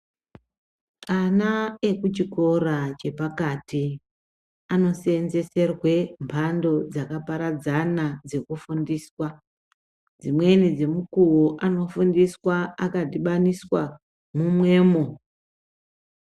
Ana ekuchikora chepakati anosenzeserwe mbando dzakaparadzana dzokufundiswa dzimweni dzomukuwo anofundiswa akadhibaniswa mumwemo.